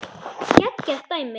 Geggjað dæmi.